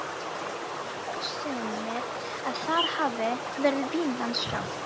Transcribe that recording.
Þó hyggja sumir að þar hafi verið Vínland sjálft.